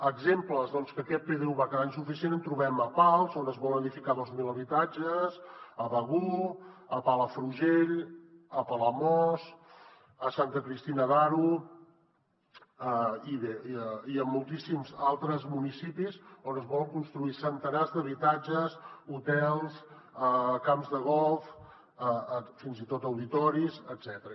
exemples que aquest pdu va quedar insuficient en trobem a pals on es vol edificar dos mil habitatges a begur a palafrugell a palamós a santa cristina d’aro i bé en moltíssims altres municipis on es volen construir centenars d’habitatges hotels camps de golf fins i tot auditoris etcètera